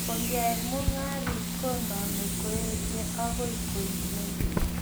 koyai mung'aret koname koechei agoi koimen